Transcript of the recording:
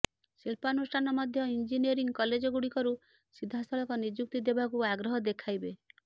ଶିଳ୍ପାନୁଷ୍ଠାନ ମଧ୍ୟ ଇଞ୍ଜିନିୟରିଂ କଲେଜଗୁଡ଼ିକରୁ ସିଧାସଳଖ ନିଯୁକ୍ତି ଦେବାକୁ ଆଗ୍ରହ ଦେଖାଇବେ